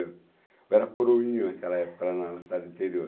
Eu era coroinho naquela época, lá na cidade interior.